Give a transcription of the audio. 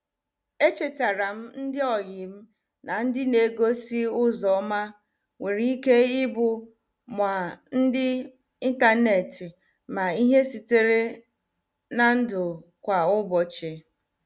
Echetaram ndị oyim na ndị na- egosi ụzọ ọma nwere ike ịbụ ma ndị intaneti ma ihe sitere n' ndụ kwa ụbọchị.